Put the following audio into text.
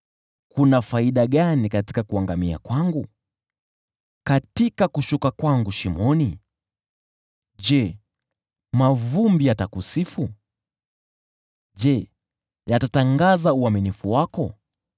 “Kuna faida gani katika kuangamia kwangu? Katika kushuka kwangu shimoni? Je, mavumbi yatakusifu? Je, yatatangaza uaminifu wako?